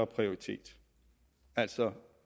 prioritet altså